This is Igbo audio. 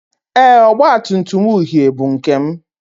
Ee, ọgba tum tum uhie bụ nke m